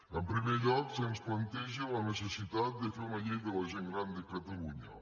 en primer lloc se’ns planteja la necessitat de fer una llei de la gent gran de catalunya